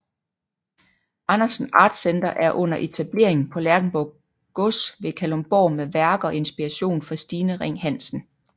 Andersen Art Center er under etablering på Lerchenborg Gods ved Kalundborg med værker og inspiration fra Stine Ring Hansen